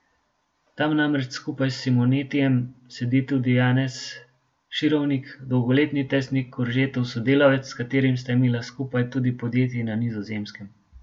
Tam namreč skupaj s Simonetijem sedi tudi Janez Širovnik, dolgoletni tesni Koržetov sodelavec, s katerim sta imela skupaj tudi podjetje na Nizozemskem.